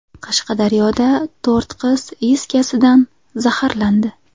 Qashqadaryoda to‘rt qiz is gazidan zaharlandi.